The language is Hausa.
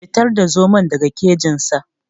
Fitar da zomon daga kejin sa.